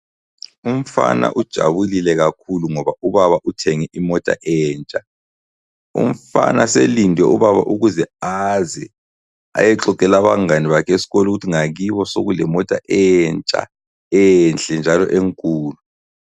Umfana ujabulile kakhulu ngoba ubaba uthenge imota entsha. Umfana selinde ubaba ukuze aze ayexoxela abangabe bakhe eskolo ukuthi ngakibo sekulemota entsha enhle njalo enkulu.